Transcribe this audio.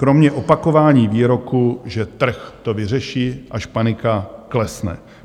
Kromě opakování výroku, že trh to vyřeší, až panika klesne.